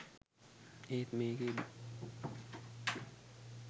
ඒත් මේකෙදි